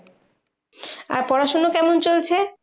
আর পড়াশোনা কেমন চলছে?